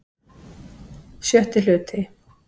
VI Hluti